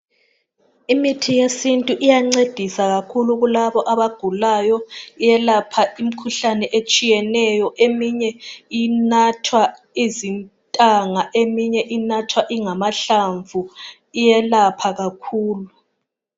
Imithi yesintu iyancedisa kakhulu kulabo abagulayo, iyelapha imikhuhlane etshiyeneyo, eminye inathwa izintanga, eminye inathwa ingamahlamvu iyelapha kakhulu.